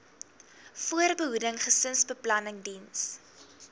voorbehoeding gesinsbeplanning diens